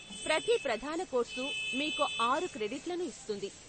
ప్రతి ప్రధాన కోర్సు మీకు ఆరు క్రెడిట్లను ఇస్తుంది.